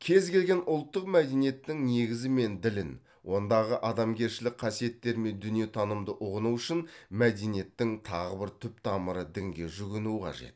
кез келген ұлттық мәдениеттің негізі мен ділін ондағы адамгершілік қасиеттер мен дүниетанымды ұғыну үшін мәдениеттің тағы бір түп тамыры дінге жүгіну қажет